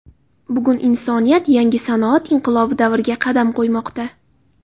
Bugun insoniyat yangi sanoat inqilobi davriga qadam qo‘ymoqda.